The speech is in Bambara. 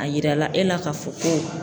A yirala e la k'a fɔ ko